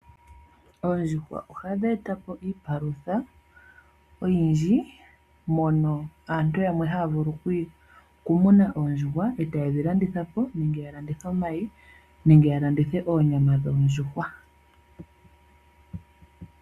Oondjuhwa ohadhi eta po iipalutha oyindji mono aantu yamwe haya vulu okumuna oondjuhwa e taye dhi landitha po nenge ya landithe omayi nenge ya landithe oonyama dhoondjuhwa.